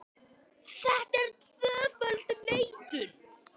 Þetta er tvöföld neitun.